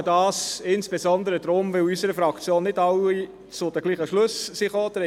Ich tue dies insbesondere deshalb, weil in unserer Fraktion nicht alle zu den gleichen Schlüssen gekommen sind;